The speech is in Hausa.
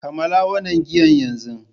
Kammala wannan giyan yanzu!